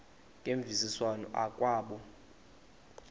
ngemvisiswano r kwabo